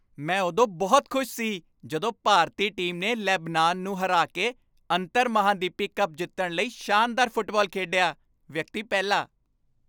ਮੈਂ ਉਦੋਂ ਬਹੁਤ ਖੁਸ਼ ਸੀ ਜਦੋਂ ਭਾਰਤੀ ਟੀਮ ਨੇ ਲੇਬਨਾਨ ਨੂੰ ਹਰਾ ਕੇ ਅੰਤਰਮਹਾਂਦੀਪੀ ਕੱਪ ਜਿੱਤਣ ਲਈ ਸ਼ਾਨਦਾਰ ਫੁੱਟਬਾਲ ਖੇਡਿਆ ਵਿਅਕਤੀ ਪਹਿਲਾ